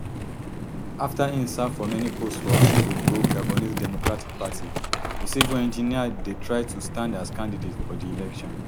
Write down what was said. afta im serve for many post for ali bongo gabonese democratic party di civil engineer dey try to stand as candidate for di election